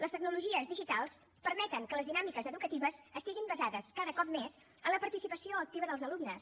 les tecnologies digitals permeten que les dinàmiques educatives estiguin basades cada cop més en la participació activa dels alumnes